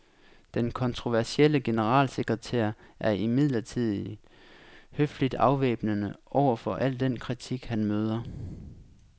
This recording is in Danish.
Den kontroversielle generalsekretær er imidlertid høfligt afvæbnende over for al den kritik, han møder.